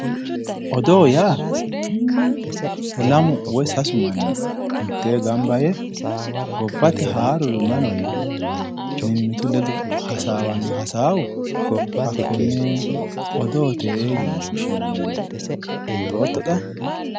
Odoo yaa lamu woy sasu manni mittee gamba yee gobbate haaruri mayi no yee mimmitu ledo hasaawanno hasaawo hakkonne odoote yine woshshinanniwe buuxootto xa?